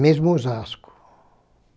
Mesmo em Osasco.